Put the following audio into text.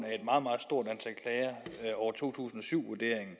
af over to tusind og syv vurderingen